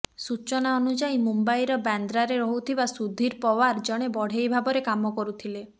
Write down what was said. ସୂଚନା ଅନୁଯାୟୀ ମୁମ୍ବାଇର ବାନ୍ଦ୍ରାରେ ରହୁଥିବା ସୁଧୀର ପାଓ୍ବାର ଜଣେ ବଢ଼େଇ ଭାବରେ କାମ କରୁଥିଲେ